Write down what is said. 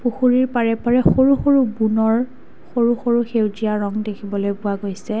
পুখুৰীৰ পাৰে পাৰে সৰু সৰু বোনৰ সৰু সৰু সেউজীয়া ৰং দেখিবলৈ পোৱা গৈছে।